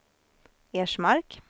Ersmark